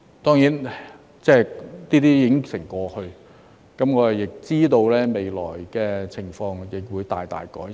當然，這些已成過去，我知道未來的情況會大大改善。